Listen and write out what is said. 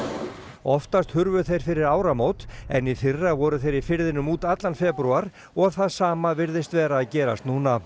oftast hurfu þeir fyrir ármót en í fyrra voru þeir í firðinum út allan febrúar og það sama virðist vera að gerast núna